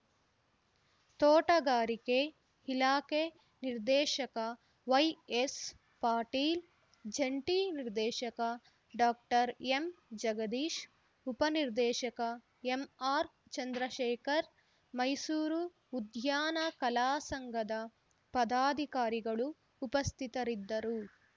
ತೋಟಗಾರಿಕೆ ಇಲಾಖೆ ನಿರ್ದೇಶಕ ವೈಎಸ್‌ ಪಾಟೀಲ್‌ ಜಂಟಿ ನಿರ್ದೇಶಕ ಡಾಕ್ಟರ್ ಎಂ ಜಗದೀಶ್‌ ಉಪನಿರ್ದೇಶಕ ಎಂಆರ್‌ ಚಂದ್ರಶೇಖರ್‌ ಮೈಸೂರು ಉದ್ಯಾನ ಕಲಾಸಂಘದ ಪದಾಧಿಕಾರಿಗಳು ಉಪಸ್ಥಿತರಿದ್ದರು